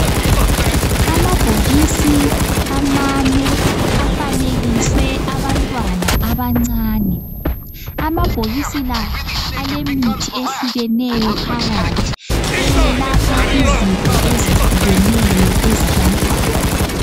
Amabhokisi amane afanekiswe abantwana abancane. Amabhokisi la alemithi ehlukeneyo phakathi, eyelapha izifo ezehlukeneyo ezabantwana.